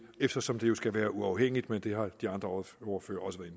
eftersom det jo skal være uafhængigt men det har de andre ordførere også været